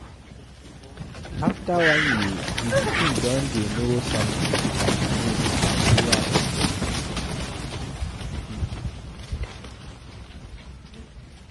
After one year, di pikin don dey know somethings like names familiar object and pipo